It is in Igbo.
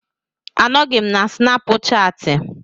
Anọghị m na Snapuchati.